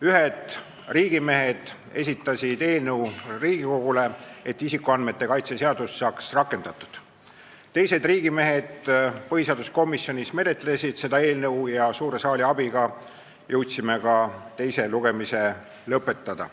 Ühed riigimehed esitasid Riigikogule eelnõu, et isikuandmete kaitse seadus saaks rakendatud, teised riigimehed põhiseaduskomisjonis menetlesid seda eelnõu ja suure saali abiga jõudsime ka teise lugemise lõpetada.